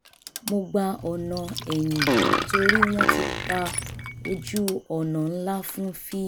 mo gba ọ̀nà ẹ̀yìn torí wọ́n ti pa ojú-ọ̀nà ńlá fún fíìmù